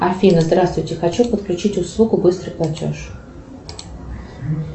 афина здравствуйте хочу подключить услугу быстрый платеж